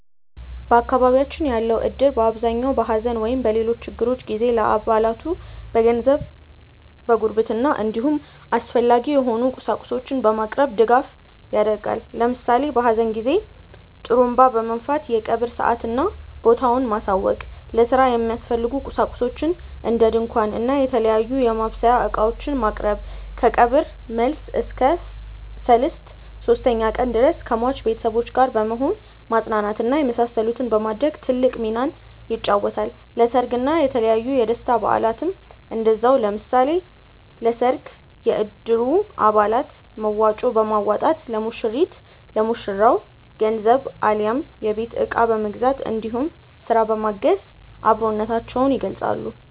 በአካባቢያችን ያለው እድር በአብዛኛው በሐዘን ወይም በሌሎች ችግሮች ጊዜ ለአባላቱ በገንዘብ፣ በጉርብትና እንዲሁም አስፈላጊ የሆኑ ቁሳቁሶችን በማቅረብ ድጋፍ ያደርጋል። ለምሳሌ በሀዘን ጊዜ ጡሩንባ በመንፋት የቀብር ሰአትና ቦታውን ማሳወቅ፣ ለስራ የሚያስፈልጉ ቁሳቁሶችን እንደ ድንኳን እና የተለያዩ የማብሰያ እቃዎችን ማቅረብ፣ ከቀብር መልስ እስከ ሰልስት (ሶስተኛ ቀን) ድረስ ከሟች ቤተሰቦች ጋር በመሆን ማፅናናት እና የመሳሰሉትን በማድረግ ትልቅ ሚናን ይጫወታል። ለሰርግ እና የተለያዩ የደስታ በአላትም እንደዛው። ለምሳሌ ለሰርግ የእድሩ አባላት መዋጮ በማዋጣት ለሙሽሪት/ ለሙሽራው ገንዘብ አሊያም የቤት እቃ በመግዛት እንዲሁም ስራ በማገዝ አብሮነታቸውን ይገልፃሉ።